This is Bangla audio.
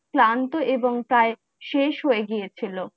ক্লান্ত এবং প্রায় শেষ হয়ে গিয়েছিল